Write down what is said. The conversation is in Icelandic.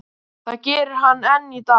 Það gerir hann enn í dag.